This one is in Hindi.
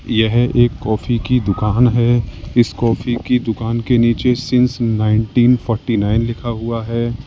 यह एक कॉफी की दुकान है। इस कॉफ़ी की दुकान के नीचे सींस नाइंटीन फोर्टी नाइन लिखा हुआ है।